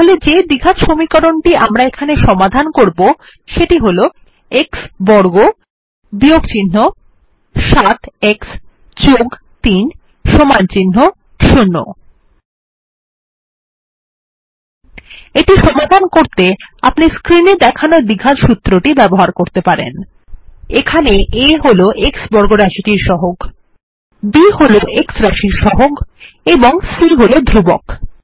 তাহলে যে দ্বিঘাত সমীকরণটি আমরা সমাধান করবো সেটি হল x বর্গ 7 x 3 0 এটি সমাধান করতে আপনি স্ক্রিন এ দেখানো দ্বিঘাত সূত্রটি ব্যবহার করতে পারেন এখানে a হল x বর্গ রাশির সহগ b হল x রাশির সহগ এবং c হল ধ্রুবক